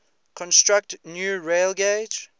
construct new railgauge